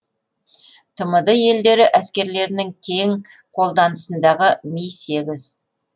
тмд елдері әскерлерінің кең қолданысындағы ми сегіз